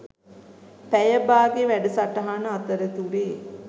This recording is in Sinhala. පැය බාගේ වැඩසටහන අතරතුරේ.